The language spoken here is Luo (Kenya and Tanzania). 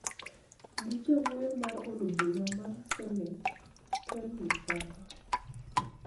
gi Jawuoyo mar od bura mar Senet, Ken Lusaka,